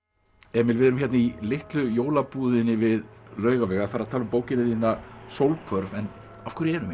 Emil við erum hérna í Litlu við Laugaveg að fara að tala um bókina þína Sólhvörf en af hverju erum